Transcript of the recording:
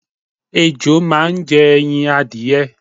Ejò máa ń je̩ e̩yin adìye̩.